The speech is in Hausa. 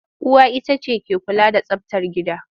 Uwa ita ce take kula da tsabtar gida.